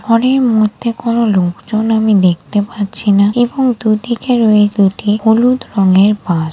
ঘরের মধ্যে কোন লোকজন আমি দেখতে পাচ্ছি না এবং দুদিকে রয়েছে দুটি হলুদ রঙের বাস ।